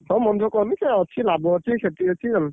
ହଉ ମନ ଦୁଖ କରନି ସିଏ ଅଛି ଲାଭ ଛି କ୍ଷତି ଅଛି ଜାଣିଲୁ।